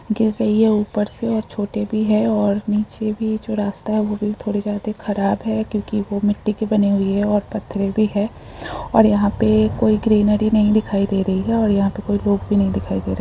गिर रही है ऊपर से और छोटे भी हैं और नीचे भी जो रास्ता है वो भी थोड़े जादे खराब है क्युकी वो मिट्टी के बने हुए हैं। और पत्थर भी है और यहां पे कोई ग्रीनरी नही दिखाई दे रही है और यहा पे कोई लोग भी नही दिखाई दे रहे --